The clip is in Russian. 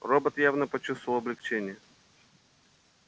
робот явно почувствовал облегчение